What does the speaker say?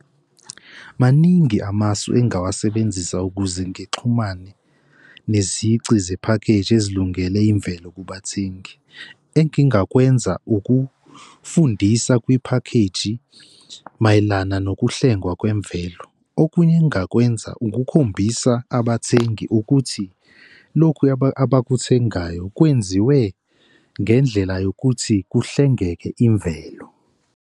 Maningi amasu engingawasebenzisa ukuze ngixhumane nezici zephakheji ezilungele imvelo kubathengi. Engingakwenza ukufundisa kwiphakheji mayelana nokuhlengwa kwemvelo. Okunye engingakwenza ukukhombisa abathengi ukuthi lokhu abakuthengayo kwenziwe ngendlela yokuthi kuhlengeke imvelo.